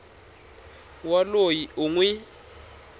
wa loyi u n wi